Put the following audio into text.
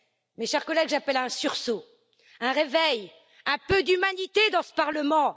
Mes chers collègues, j'appelle à un sursaut, à un réveil, à un peu d'humanité dans ce parlement.